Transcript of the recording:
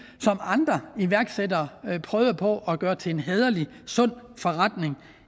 som andre iværksættere prøvede på at gøre til en hæderlig sund forretning